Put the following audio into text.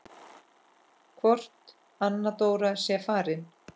Hvort Anna Dóra sé farin.